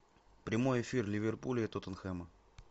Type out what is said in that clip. прямой эфир ливерпуля и тоттенхэма